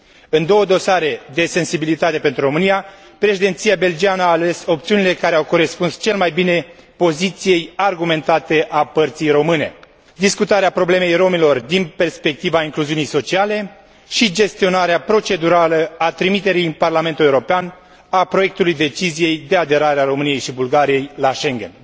În două dosare de sensibilitate pentru România, Președinția belgiană a ales opțiunile care au corespuns cel mai bine poziției argumentate a părții române discutarea problemei romilor din perspectiva incluziunii sociale și gestionarea procedurală a trimiterii în parlamentul European a proiectului deciziei de aderare a României și Bulgariei la Schengen.